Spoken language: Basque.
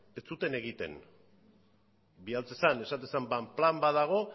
ez zuten egiten bidaltzen zen esaten zen plan bat dago